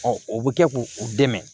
o bɛ kɛ k'u u dɛmɛ